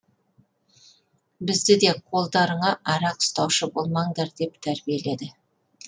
бізді де қолдарыңа арақ ұстаушы болмаңдар деп тәрбиеледі